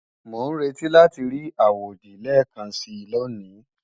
Mò ń retí láti rí àwòdì lẹ́ẹ̀kansi lóní